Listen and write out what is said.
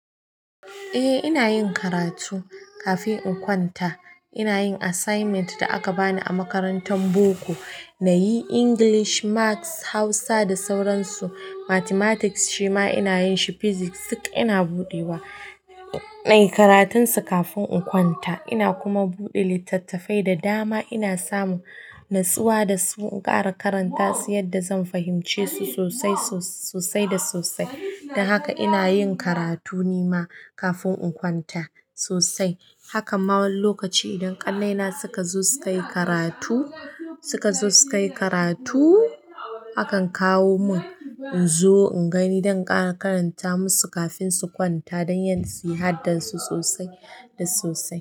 Eh ina yin karatu kafin in kwanta. Ina yin assignment da aka bani a makarantan boko. Na yi English, maths, Hausa da sauran su. Mathematics shima ina yin shi. Pysics duk ina buɗe wa, na yi karatun su kafin in kwanta. Ina kuma buɗe littattafai da dama. Ina samun natsuwa da so in ƙara karanta su yadda zan fahimce su sosai, sosai da sosai. Don haka ina yin karatu ni ma kafin in kwanta sosai. Hakan ma wani lokaci idan ƙannai na suka zo suka yi karatu, suka zo suka yi karatu, akan kawo mun in zo in gani don in ƙara karanta masu kafin su kwanta don ƴan su yi haddar su sosai da sosai.